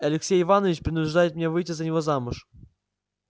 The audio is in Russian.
алексей иванович принуждает меня выйти за него замуж